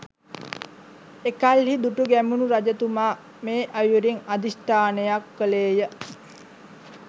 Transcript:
එකල්හි දුටුගැමුණු රජතුමා මේ අයුරින් අධිෂ්ඨානයක් කළේ ය